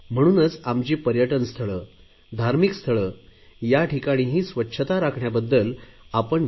म्हणून आमची पर्यटन स्थळे धार्मिक स्थळे या ठिकाणी स्वच्छता राखण्याबद्दल आपण विशेष लक्ष द्यायला हवे